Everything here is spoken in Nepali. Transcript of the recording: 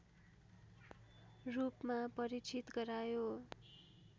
रूपमा परिचित गरायो